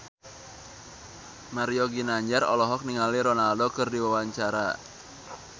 Mario Ginanjar olohok ningali Ronaldo keur diwawancara